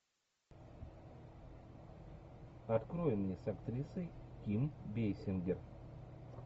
открой мне с актрисой ким бейсингер